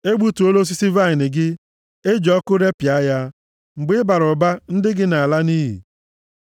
E gbutuola osisi vaịnị gị, e ji ọkụ repịa ya; mgbe ị bara mba, ndị gị na-ala nʼiyi.